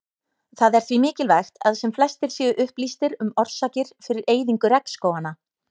Það er því mikilvægt að sem flestir séu upplýstir um orsakir fyrir eyðingu regnskóganna.